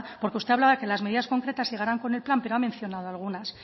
porque usted hablaba que las medidas concretas llegarán con el plan pero ha mencionado algunas